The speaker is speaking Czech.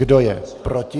Kdo je proti?